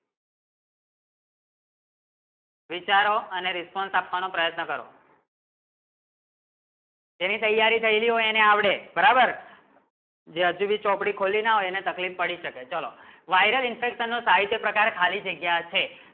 વિચારો અને response આપવાનો પ્રયત્ન કરો જેની તૈયારી થયી ગયી હો એની આવડે બરાબર જેની ભી ચોપડી ખોલી ના તેની તકલીફ પડી શે ચલો viral infection નું સાહિત્ય પ્રકાર ખાલી જગ્ય છે